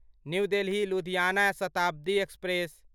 new Delhi Ludhiana Shatabdi express